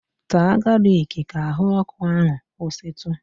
Taa galiki ka ahụ ọkụ ahụ kwụsịtụ!